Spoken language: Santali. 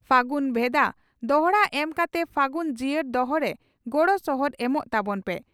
ᱯᱷᱟᱹᱜᱩᱱ ᱵᱷᱮᱫᱟ ᱫᱚᱦᱲᱟ ᱮᱢ ᱠᱟᱛᱮ ᱯᱷᱟᱹᱜᱩᱱ ᱡᱤᱭᱟᱹᱲ ᱫᱚᱦᱚ ᱨᱮ ᱜᱚᱲᱚ ᱥᱚᱦᱚᱫ ᱮᱢᱚᱜ ᱛᱟᱵᱚᱱ ᱯᱮ ᱾